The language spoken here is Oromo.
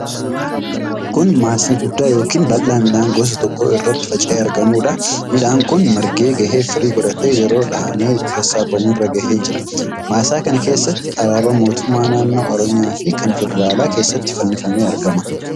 Kun maasii guddaa yookiin bal'aa midhaan gosa tokkoo irra faca'ee argamudha. Midhaan kun margee gahee firii godhatee yeroo dhahamee itti sassaabamu irra gahee jira. Maasaa kana keessatti alaabaan mootummaa naannoo Oromiyaa fi kan federaalaa keessatti fannifamee argama.